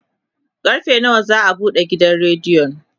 karfe nawa za'a buɗe gidan rediyon?